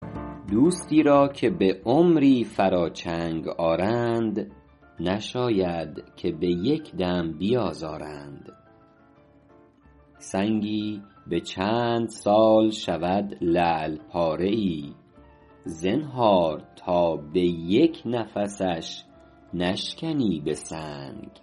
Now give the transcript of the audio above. دوستی را که به عمری فرا چنگ آرند نشاید که به یک دم بیازارند سنگی به چند سال شود لعل پاره ای زنهار تا به یک نفسش نشکنی به سنگ